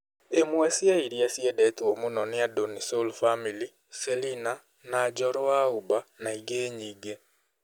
ĩmwe cia iria ciendetwo mũno nĩ andũ nĩ sol family, Selina na Njoro wa Uba na ingĩ nyingĩ.